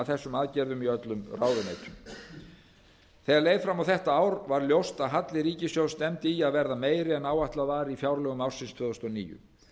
þessum aðgerðum í öllum ráðuneytum þegar leið fram á þetta ár varð ljóst að halli ríkissjóðs stefndi í að verða meiri en áætlað var í fjárlögum ársins tvö þúsund og níu